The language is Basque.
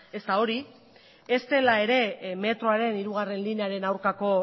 ez da hori ez dela ere metroaren hirugarrena linearen aurkako